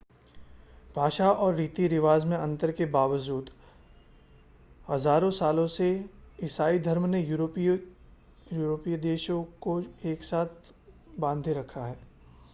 भाषा और रीति-रिवाज़ में अंतर के बावजूद हज़ारों सालों से ईसाई धर्म ने यूरोपीय देशों को एक साथ बांधे रखा है